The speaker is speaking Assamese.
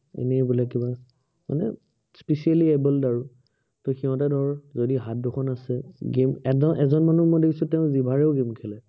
এনেই বোলে কিবা, মানে specially able আৰু। সিহঁতে ধৰ, যদি হাত দুখন আছে, game এজন মানুহ দেখিছো মই তেওঁ জিভাৰেও game খেলে